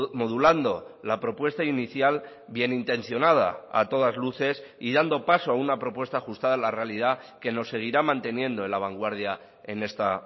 modulando la propuesta inicial bienintencionada a todas luces y dando paso a una propuesta ajustada a la realidad que nos seguirá manteniendo en la vanguardia en esta